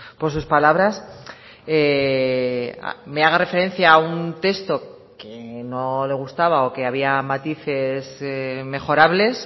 por sus palabras me haga referencia a un texto que no le gustaba o que había matices mejorables